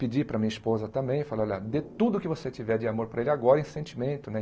Pedi para a minha esposa também, falei, olha, dê tudo que você tiver de amor para ele agora em sentimento, né?